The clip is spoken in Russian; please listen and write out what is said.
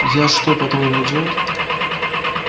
я что по-твоему идиот